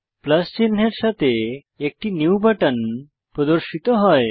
plus চিনহের সাথে একটি নিউ বাটন প্রদর্শিত হয়